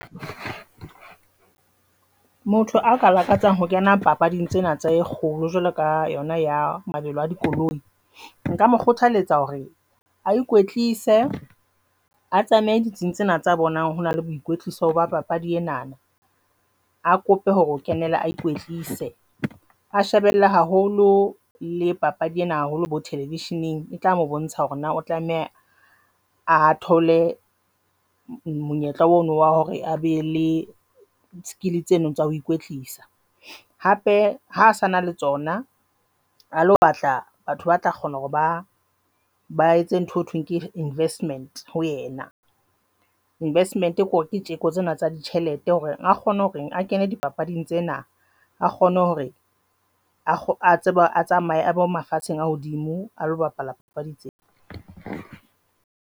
Motho a ka lakatsang ho kena papading tsena tse kgolo jwalo ka yona ya mabelo a dikoloi nka mo kgothaletsa hore a ikwetlisa a tsamaye ditsing tsena tsa bonang hore na le boikwetliso ba papadi ena. A kope hore o kenela a ikwetlise a shebella haholo le papadi ena haholo bo thelevisheneng, e tla mo bontsha hore na o tlameha a thole monyetla ona wa hore a be le skill tseno tsa ho ikwetlisa hape ha se na le tsona ha lo batla batho ba tla kgona hore ba ba etse ntho eo thweng ke investment ho yena investment kore ke tseko tsena tsa ditjhelete hore a kgone hore a kene dipapading tsena, a kgone hore wa tseba a tsamaye a bo mafatsheng a hodimo, a lo bapala papadi tseo.